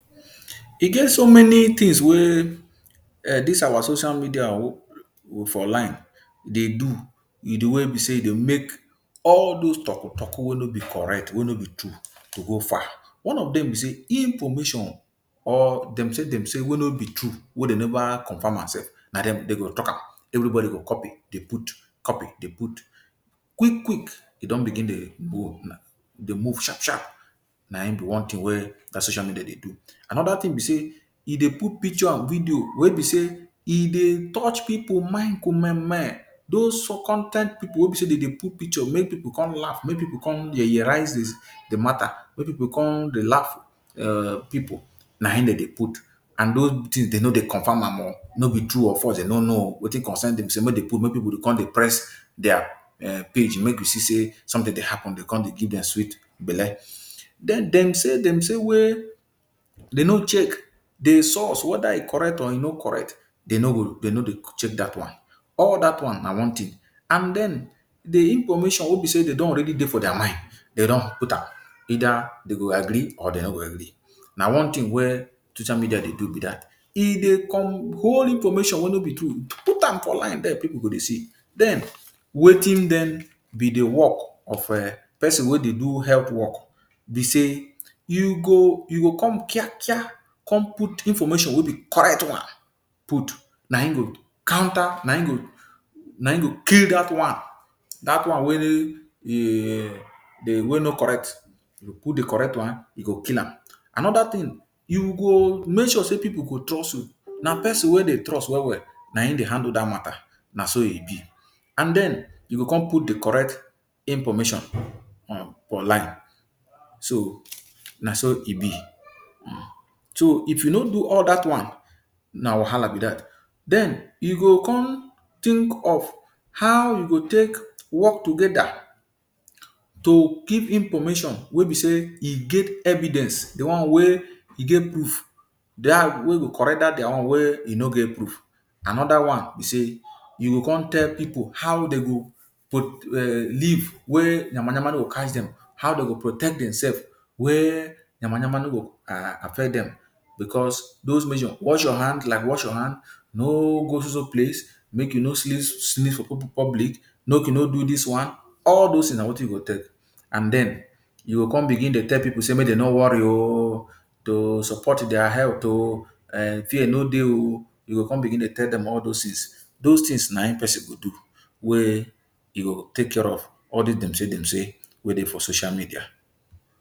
E get so many tins wey dis our social media for online dey do wit di way wey be say e dey make all dose toku toku wey no be correct, wey no be true, to go far. One of dem be say information or "dem say dem say" wey no be true, wey dem never confirm am sef, na dey go talk am. Everybody go copy dey put, copy dey put. Quick quick, e don begin dey go, e dey move sharp sharp. Na him be one tin wey dat social media dey do. Anoda tin be say e dey put picture and video wey be say e dey touch pipu mind kumeme, dose con ten t pipu wey be say dem dey put picture make pipu come laugh, make pipu come yeye-rises di matta make pipu come dey laugh um people, na im dem dey put. And dose tins, dem no dey confirm am o. No b True or false, dem no know o. Wetin concern dem sey make dey put make pipu go dey come dey press dia um page, make we see say somtin dey happun, e go dey give dem sweet belle. Den, "dem say dem say" wey dem no check di source, weda e correct or e no correct, dem no go check dat one. All dat one na one tin. And den, di information wey be say dem don already dey for dia mind, dem don put am. Eida dem go agree or dem no go agree. Na one tin wey social media dey do be dat. E dey hold information wey no be true, put am for online dia Pipu go dey see. Den, wetin be di wok of um pesin wey dey do health wok Be say you go come kiakia come put information wey be correct one. Put. Na him go counter. Na him go kill dat one, dat one wey no correct. You put di correct one, e go kill am. Anoda tin, you go make sure say pipu go trust you. Na pesin wey dem trust well well na im dey handle dat matta. Na so e be. And den you go come put di correct information for online. So, na so e be. So if you no do all dat one, na wahala be dat. Den, you go come think of how you go take wok togeda to keep information wey be say e get evidence, di one wey e get proof, wey go correct dat dia own wey no get proof. Anoda one be say you go come tell pipu how dem go um live wey nyama-nyama no go catch dem. How dem go protect demsef wey nyama-nyama no go affect dem. Bicos those measure like wash your hand, no go soso place, make you no sneeze for public, make you no do dis one, all dose tins na wetin you go take. And den you go come begin dey tell pipu say make dem no worry o, to support dia health o. um Fear no dey o. You go come begin dey tell dem all dose tins. Dose tins na him pesin go do wey e go take care of all dis "dem say dem say" wey dey for social media.